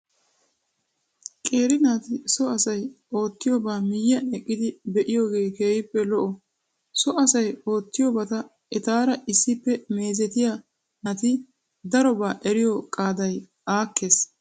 Qeeri naati so asay oottiyobaa miyyiyan eqqidi be'iyogee keehippe lo"o. So asay oottiyobata etaara issippe meezetiya naati darobaa eriyo qaaday aakkees.